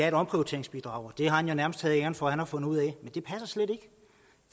et omprioriteringsbidrag og det har han jo nærmest taget æren for at have fundet ud af